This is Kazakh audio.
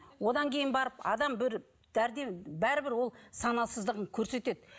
одан кейін барып адам бір бәрібір ол санасыздығын көрсетеді